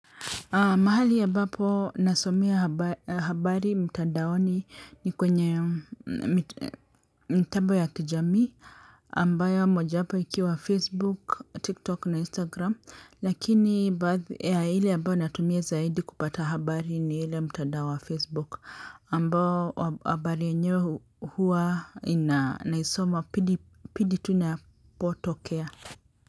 Mahali ambapo nasomea habari mtandaoni ni kwenye mtambo ya kijamii ambayo moja wapo ikiwa facebook, tiktok na instagram lakini ile ambayo natumie zaidi kupata habari ni ile mtandao wa facebook ambao habari yenyewe huwa naisoma pindi inapotokea.